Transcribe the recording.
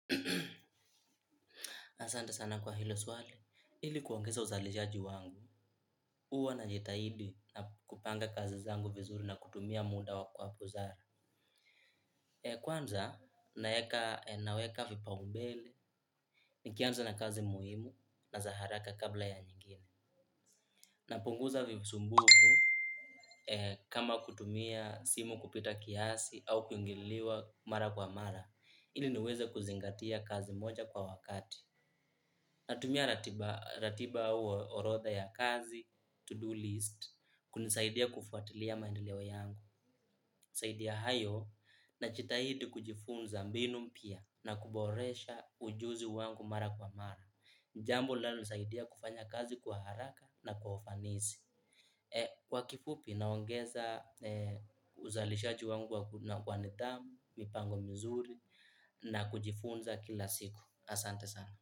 Asante sana kwa hilo swali. Ili kuongeza uzalishaji wangu, huwa najitahidi na kupanga kazi zangu vizuri na kutumia muda kwa busara. Kwanza, naweka vipaumbele, nikianza na kazi muhimu na za haraka kabla ya nyingine. Napunguza visumbufu kama kutumia simu kupita kiasi au kuingiliwa mara kwa mara, ili niweze kuzingatia kazi moja kwa wakati. Natumia ratiba au orodha ya kazi, to do list, kunisaidia kufuatilia maendeleo yangu zaidi ya hayo, najitahidi kujifunza mbinu mpya na kuboresha ujuzi wangu mara kwa mara. Jambo linalonisaidia kufanya kazi kwa haraka na kwa ufanisi. Kwa kifupi, naongeza uzalishaji wangu kwa nidhamu, mipango mizuri na kujifunza kila siku. Asante sana.